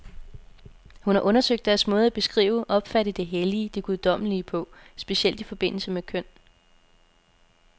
Hun har undersøgt deres måde at beskrive, opfatte det hellige, det guddommelige på, specielt i forbindelse med køn.